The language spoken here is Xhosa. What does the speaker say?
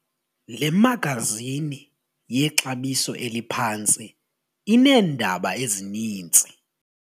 Le magazini yexabiso eliphantsi ineendaba ezininzi.